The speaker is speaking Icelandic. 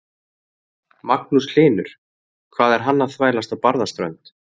Magnús Hlynur: Hvað er hann að þvælast á Barðaströnd?